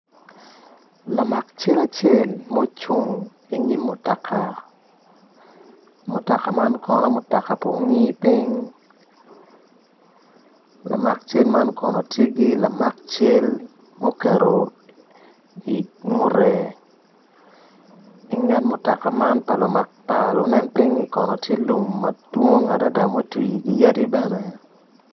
Lamak cal acel ma ocung i nyim mutoka, mutoka man kono mutoka pa ongi ping lamak cal man kono tye gi lamak cal ma oketo i ngute, i nget mutoka man pa lunen ping tye lum kono madwong adada ma otwi gi yadi bene.